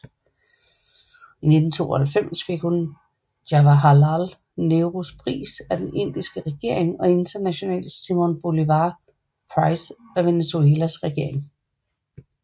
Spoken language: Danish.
I 1992 fik hun Jawaharlal Nehrus Pris af den Indiske regering og International Simón Bolívar Prize af Venezuelas regering